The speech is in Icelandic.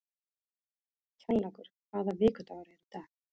Kjallakur, hvaða vikudagur er í dag?